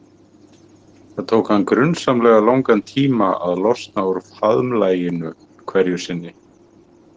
Það tók hann grunsamlega langan tíma að losna úr faðmlaginu hverju sinni.